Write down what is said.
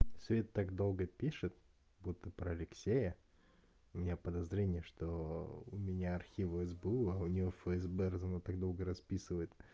света так долго пишет будто про алексея у меня подозрение что у меня архивы сбу у неё фсб раз она так долго расписывает